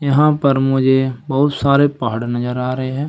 यहां पर मुझे बहुत सारे पहाड़ नजर आ रहे हैं।